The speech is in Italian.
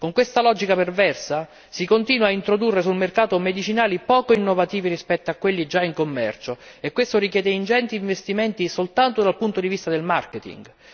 Con questa logica perversa si continua a introdurre sul mercato medicinali poco innovativi rispetto a quelli già in commercio e questo richiede ingenti investimenti soltanto dal punto di vista del marketing.